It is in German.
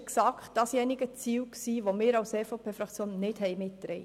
Genau dieses Ziel haben wir als EVP-Fraktion nicht mitgetragen.